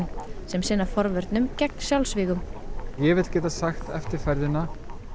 sem sinna forvörnum gegn sjálfsvígum ég vil geta sagt eftir ferðina